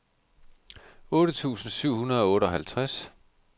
otte tusind syv hundrede og otteoghalvtreds